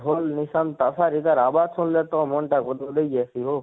ଢୋଲ ଲିସାନ ତାସା ଇତାର ଆବାଜ ସୁନଲେ ତ ମନ ଟା ଗଦ ଗଦେଇ ଜାଇସୀ ହୋ,